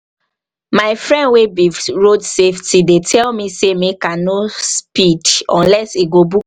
my friend wey be road safety dey tell me say make i no speed unless he go book